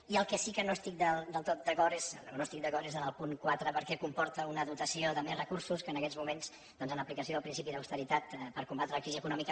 i en el que sí que no estic del tot d’acord o no hi estic d’acord és en el punt quatre perquè comporta una dotació de més recursos que en aquests moments doncs en aplicació del principi d’austeritat per combatre la crisi econòmica